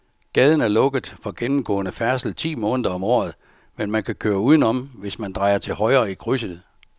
Gaden er lukket for gennemgående færdsel ti måneder om året, men man kan køre udenom, hvis man drejer til højre i krydset.